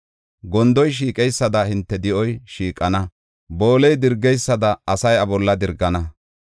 Gondoy shiiqeysada hinte di7oy shiiqana; booley dirgeysada asay iya bolla dirgana.